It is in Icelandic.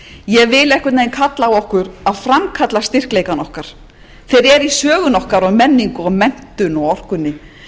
ég vil einhvern veginn kalla á okkur að framkalla styrkleika okkar þeir eru í sögunni okkar og menningu og menntun og orkunni